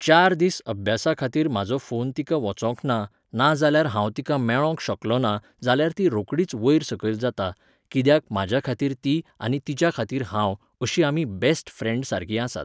चार दीस अभ्यासा खातीर म्हाजो फोन तिका वचोंकना नाजाल्यार हांव तिका मेळोंक शकलोना जाल्यार ती रोखडीच वयर सकयल जाता, कित्याक म्हाज्या खातीर ती आनी तिच्या खातीर हांव, अशीं आमी बेस्ट फ्रेन्ड सारकीं आसात.